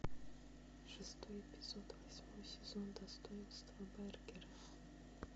шестой эпизод восьмой сезон достоинство бергера